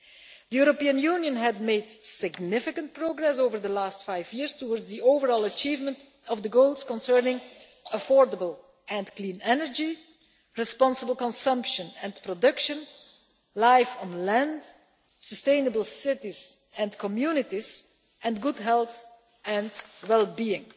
The European Union has made significant progress over the last five years towards the overall achievement of the goals concerning affordable and clean energy, responsible consumption and production, life on land, sustainable cities and communities and good health and well-being.